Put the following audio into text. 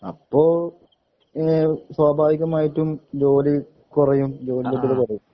അപ്പോ ഏഹ് സ്വാഭാവികമായിട്ടും ജോലി കുറയും ജോലിലബ്‌ദതകുറയും